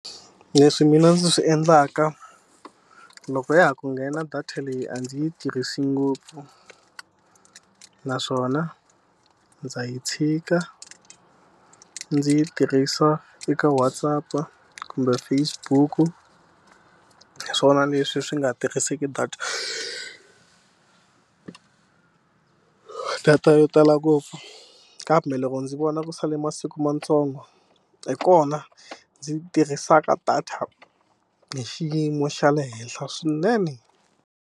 Leswi mina ndzi swi endlaka, loko ya ha ku nghena data leyi a ndzi yi tirhisi ngopfu. Naswona ndza yi tshika ndzi yi tirhisa eka Whatsapp-a kumbe Facebook-u. Hi swona leswi swi nga tirhiseki data data yo tala ngopfu, kambe loko ndzi vona ku sale masiku mantsongo hi kona ndzi tirhisaka data hi xiyimo xa le henhla swinene.